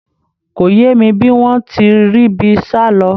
Kò yé mi bí wọ́n ti ríbi sálọ